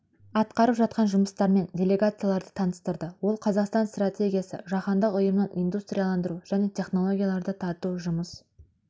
атқарып жатқан жұмыстарымен делегацияларды таныстырды ол қазақстан стратегиясы жаһандық ұйымның индустрияландыру жаңа технологияларды тарту жұмыс